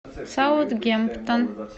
саутгемптон